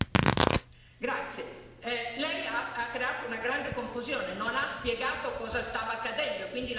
Lei ha creato una grande confusione, non ha spiegato cosa stava accadendo e quindi la gente non sapeva cosa votava.